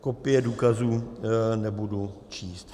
Kopie důkazů nebudu číst.